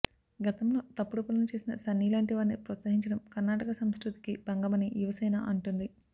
గతంలో తప్పుడు పనులు చేసిన సన్నీ లాంటి వారిని ప్రోత్సహించడం కర్ణాటక సంస్కృతికి భంగమని యువసేన అంటోంది